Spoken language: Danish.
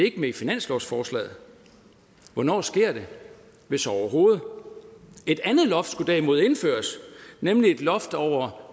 ikke med i finanslovsforslaget hvornår sker det hvis overhovedet et andet loft skulle derimod indføres nemlig et loft over